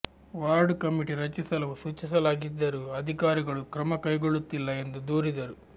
ward committee ರಚಿಸಲು ಸೂಚಿಸಲಾಗಿದ್ದರೂ ಅಧಿಕಾರಿಗಳು ಕ್ರಮ ಕೈಗೊಳ್ಳುತ್ತಿಲ್ಲ ಎಂದು ದೂರಿದರು